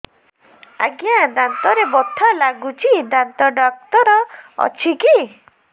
ଆଜ୍ଞା ଦାନ୍ତରେ ବଥା ଲାଗୁଚି ଦାନ୍ତ ଡାକ୍ତର ଅଛି କି